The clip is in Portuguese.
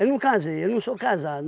Eu não casei, eu não sou casado.